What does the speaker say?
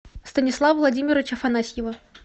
станислава владимировича афанасьева